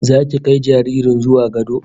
Zaki kai jaririn zuwa gado